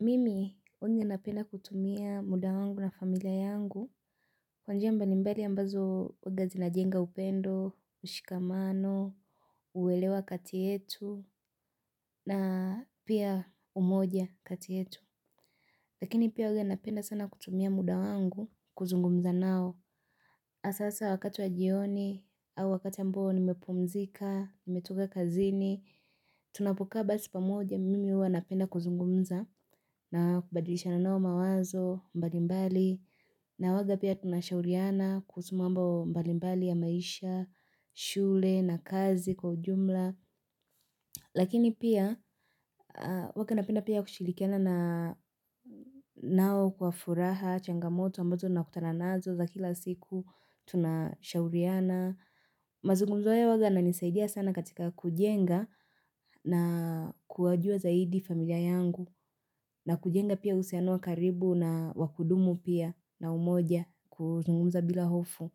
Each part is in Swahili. Mimi huwanga napenda kutumia muda wangu na familia yangu kwa njia mbalimbali ambazo huwanga zinajenga upendo, ushikamano, uelewa kati yetu na pia umoja kati yetu. Lakini pia huanga napenda sana kutumia muda wangu kuzungumza nao. Hasa sa wakati wa jioni au wakati ya ambao nimepumzika, nimetoka kazini, tunapokaa basi pamoja mimi huwa napenda kuzungumza na kubadilishana nao mawazo mbalimbali. Na huwaga pia tunashauriana kuhusu mambo mbalimbali ya maisha, shule na kazi kwa ujumla. Lakini pia huwanga napenda pia kushirikiana na nao kwa furaha, changamoto ambazo nakutana nazo za kila siku, tunashauriana, mazungumzo haya huwaga inanisaidia sana katika kujenga na kuwajua zaidi familia yangu. Na kujenga pia uhusiano wa karibu na wa kudumu pia na umoja, kuzungumza bila hofu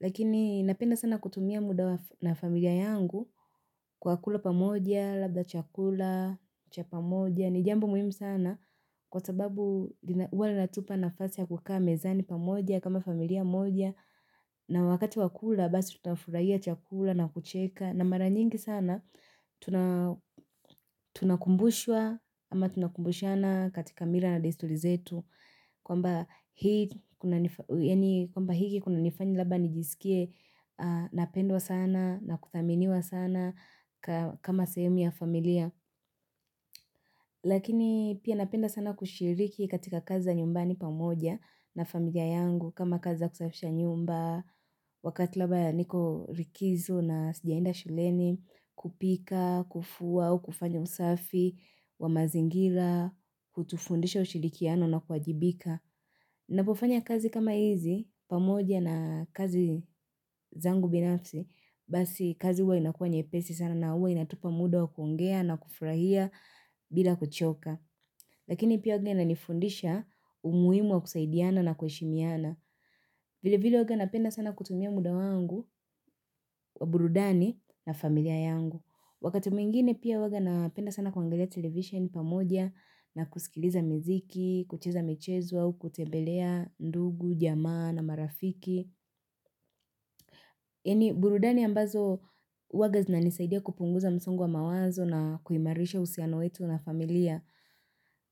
Lakini napenda sana kutumia muda na familia yangu kwa kula pamoja, labda chakula, cha pamoja. Ni jambo muhimu sana kwa sababu huwa linatupa nafasi ya kukaa mezani pamoja kama familia moja na wakati wa kula basi tutafurahia chakula na kucheka, na mara nyingi sana tunakumbushwa ama tunakumbushana katika mila na desturi zetu kwamba hiki kunanifanya labda nijisikie napendwa sana na kuthaminiwa sana kama sehemu ya familia. Lakini pia napenda sana kushiriki katika kazi za nyumbani pamoja na familia yangu kama kazi za kusafisha nyumba. Wakati labda niko likizo na sijaenda shuleni, kupika, kufua, au kufanya usafi, wa mazingira, hutufundisha ushirikiano na kuwajibika. Napofanya kazi kama hizi, pamoja na kazi zangu binafsi, basi kazi huwa inakuwa nyepesi sana na huwa inatupa muda wa kuongea na kufurahia bila kuchoka. Lakini pia huwanga inanifundisha umuhimu wa kusaidiana na kuheshimiana. Vilevile huwaga napenda sana kutumia muda wangu, wa burudani na familia yangu. Wakati mwingine pia huwaga napenda sana kuangalia television pamoja na kusikiliza muziki, kucheza michezo au, kutembelea ndugu, jamaa na marafiki Yaani burudani ambazo huwanga zinanisaidia kupunguza msongo wa mawazo na kuimarisha uhusiano wetu na familia.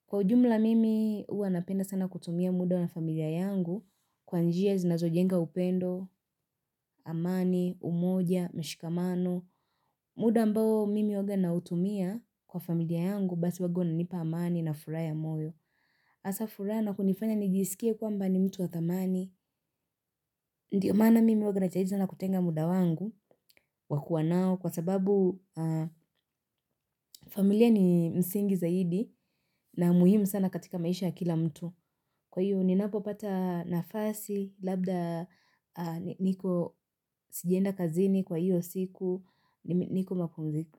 Kwa ujumla mimi huwa napenda sana kutumia muda na familia yangu kwa njia zinazojenga upendo, amani, umoja, mshikamano muda ambao mimi huwaga nautumia kwa familia yangu basi huwaga unanipa amani na furaha ya moyo. Hasa furaha na kunifanya nijisikie kwamba ni mtu wa dhamani. Ndio maana mimi huwaga najaribu sana kutenga muda wangu wa kuwa nao kwa sababu familia ni msingi zaidi na muhimu sana katika maisha ya kila mtu. Kwa hiyo ninapo pata nafasi, labda niko sijaenda kazini kwa hiyo siku, niko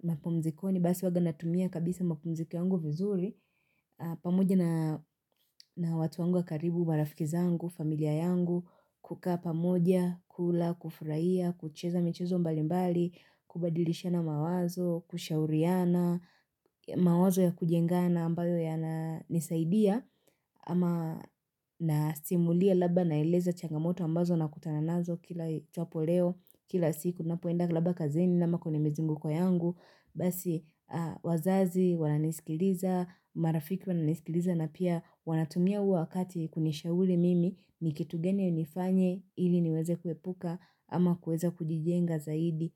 mapumzikoni, basi huwaga natumia kabisa mapumziko yangu vizuri, pamoja na na watu wangu wa karibu, marafiki zangu, familia yangu, kukaa pamoja, kula, kufurahia, kucheza michezo mbalimbali, kubadilishana mawazo, kushauriana, mawazo ya kujengana ambayo yananisaidia, ama nasimulia labda naeleza changamoto ambazo nakutana nazo kila ijapo leo kila siku, napoenda labda kazini ama kwenye mizunguko yangu basi wazazi wananisikiliza, marafiki wananisikiliza na pia wanatumia huo wakati kunishauri mimi ni kitu gani nifanye, ili niweze kuepuka ama kuweza kujijenga zaidi.